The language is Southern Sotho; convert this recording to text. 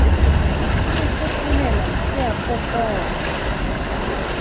se fofonela se a kopola